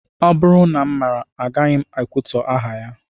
Ọ bụrụ na m maara, agaghị m ekwutọ aha ya